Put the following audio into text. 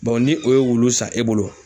ni o ye wulu san e bolo